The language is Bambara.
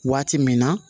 Waati min na